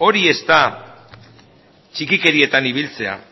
hori ez da txikikerietan ibiltzea